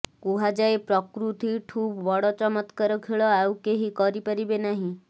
କୁହାଯାଏ ପ୍ରକୃତିଠୁ ବଡ ଚମତ୍କାର ଖେଳ ଆଉ କେହି କରିପାରିବେ ନାହିଁ